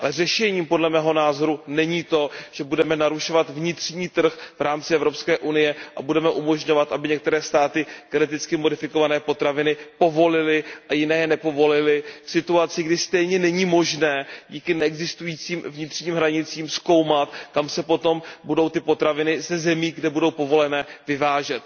Řešením podle mého názoru není to, že budeme narušovat vnitřní trh v rámci Evropské unie a budeme umožňovat, aby některé státy geneticky modifikované potraviny povolily a jiné je nepovolily v situaci, kdy stejně není možné díky neexistujícím vnitřním hranicím zkoumat, kam se potom budou ty potraviny ze zemí, kde budou povolené, vyvážet.